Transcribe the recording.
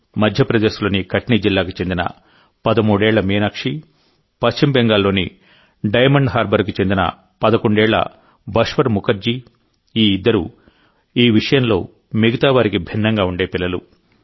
మధ్యప్రదేశ్ లోని కట్నీ జిల్లాకు చెందిన పదమూడేళ్ల మీనాక్షి పశ్చిమ బెంగాల్లోని డైమండ్ హార్బర్కు చెందిన పదకొండేళ్ల బష్వర్ ముఖర్జీ ఈ ఇద్దరూ ఈ విషయంలో మిగతావారికి భిన్నంగా ఉండే పిల్లలు